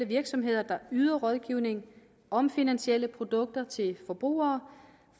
virksomheder der yder rådgivning om finansielle produkter til forbrugere